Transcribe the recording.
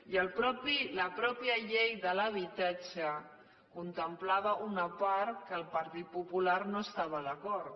i la mateixa llei de l’habitatge contemplava una part en què el partit popular no estava d’acord